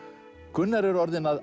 Gunnar er orðinn að